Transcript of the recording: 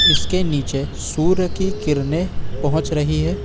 इसके नीचे सूर्य की किरणें पहुंच रही है।